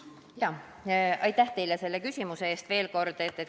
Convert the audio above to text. Jaa, aitäh teile selle küsimuse eest veel kord!